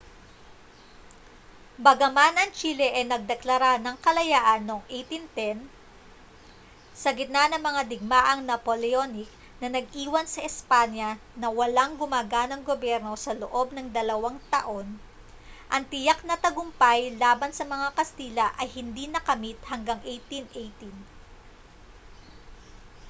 bagaman ang chile ay nagdeklara ng kalayaan noong 1810 sa gitna ng mga digmaang napoleonic na nag-iwan sa espanya na walang gumaganang gobyerno sa loob ng dalawang taon ang tiyak na tagumpay laban sa mga kastila ay hindi nakamit hanggang 1818